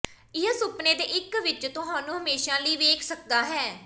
ਇਹ ਸੁਪਨੇ ਦੇ ਇੱਕ ਵਿੱਚ ਤੁਹਾਨੂੰ ਹਮੇਸ਼ਾ ਲਈ ਵੇਖ ਸਕਦਾ ਹੈ